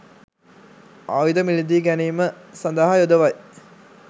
ආයුධ මිලදී ගැනීම සඳහා යොදවයි